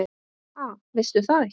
Ha, veistu það ekki?